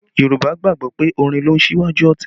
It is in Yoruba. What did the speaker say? Yorùbá gbàgbọ́ pé orin ló ń ṣíwájú ọ̀tẹ̀